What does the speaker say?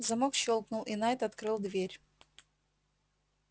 замок щёлкнул и найд открыл дверь